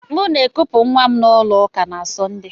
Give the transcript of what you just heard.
M na akupu nwa m na ulo uka na Sọnde.